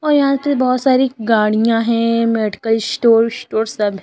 और यहां बहुत सारी गाड़ियां हैं मेडिकल स्टोर स्टोर सब है।